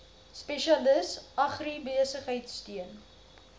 spesialis agribesigheid steun